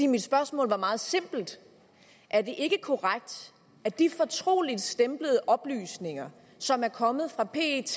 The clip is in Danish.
mit spørgsmål var meget simpelt er det ikke korrekt at de fortroligtstemplede oplysninger som er kommet fra pet